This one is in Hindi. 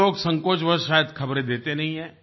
कुछ लोग संकोचवश शायद ख़बरें देते नहीं हैं